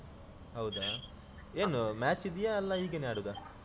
ಹೌದಾ ಏನು match ಇದ್ಯಾ ಅಲ್ಲಾ ಹೀಗೇನೆ ಆಡುದಾ?